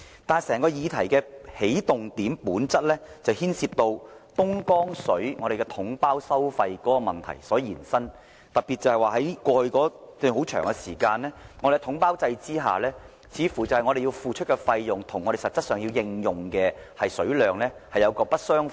但是，整個議題源於東江水統包收費問題的延伸，特別是過去一段很長時間，在統包制下，似乎我們付出的費用跟我們實際的用水量並不相符。